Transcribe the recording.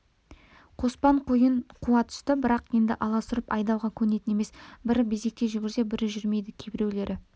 қоспан қойын қуа түсті бірақ енді аласұрып айдауға көнетін емес бірі безектей жүгірсе бірі жүрмейді кейбіреулері